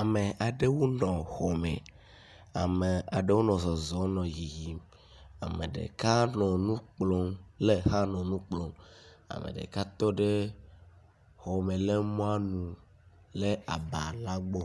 Ame aɖewo nɔ xɔ me. Ame aɖewo nɔ zɔzɔm nɔ yiyim. Ame ɖeka nɔ nu kplɔm le xa nɔ nu kplɔm. Ame ɖeka tɔ ɖe xɔ me le mɔa nu le aba la gbɔ